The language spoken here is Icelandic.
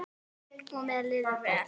Og mér líður vel.